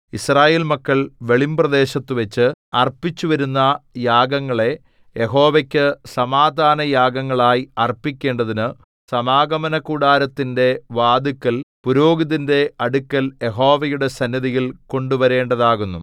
യിസ്രായേൽ മക്കൾ വെളിമ്പ്രദേശത്തുവച്ച് അർപ്പിച്ചുവരുന്ന യാഗങ്ങളെ യഹോവയ്ക്കു സമാധാനയാഗങ്ങളായി അർപ്പിക്കേണ്ടതിനു സമാഗമനകൂടാരത്തിന്റെ വാതില്ക്കൽ പുരോഹിതന്റെ അടുക്കൽ യഹോവയുടെ സന്നിധിയിൽ കൊണ്ടുവരേണ്ടതാകുന്നു